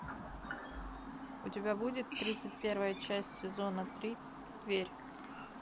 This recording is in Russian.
у тебя будет тридцать первая часть сезона три верь